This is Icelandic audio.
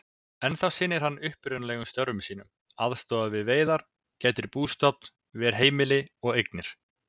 Ennþá sinnir hann upprunalegum störfum sínum, aðstoðar við veiðar, gætir bústofns, ver heimili og eignir.